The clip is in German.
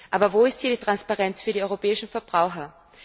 Aber wo ist hier die Transparenz für die europäischen Verbraucher?